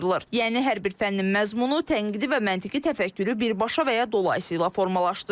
Yəni hər bir fənnin məzmunu tənqidi və məntiqi təfəkkürü birbaşa və ya dolayısı ilə formalaşdırır.